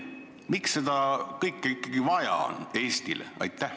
Miks seda kõike ikkagi Eestile vaja on?